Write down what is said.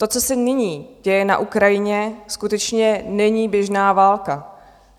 To, co se nyní děje na Ukrajině, skutečně není běžná válka.